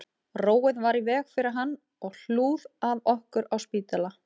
Róið var í veg fyrir hann og hlúð að okkur á spítala